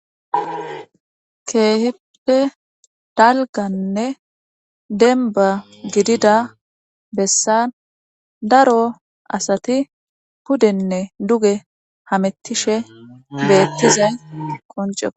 Keehippe dalgganne denbba gidida bessan daro asati pudenne duge hamettishe beettizay qonceekko